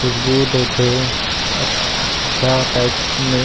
खुशबू देथे अच्छा टाइप मे